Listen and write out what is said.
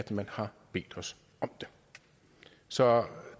man har bedt os om det så